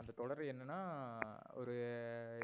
அந்த தொடரு என்னனா எர் ஒரு